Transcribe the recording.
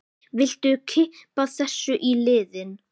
Viltu kippa þessu í liðinn?